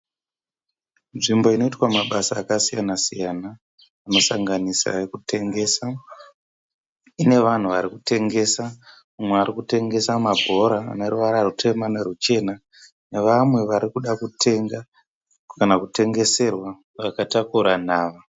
Nzvimbo inoitwa mabasa akasiyana-siyana. Anosanganisa ekutengesa inevanhu varikutengesa mumwe arikutengesa mabhora aneruvara rutema neruchena nevamwe varikuda kutenga kana kutengeserwa vakatakura nhava.